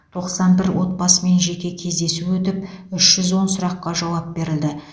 тоқсан бір отбасымен жеке кездесу өтіп үш жүз он сұраққа жауап берілді